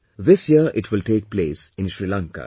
This year it will take place in Sri Lanka